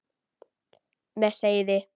Með seiði.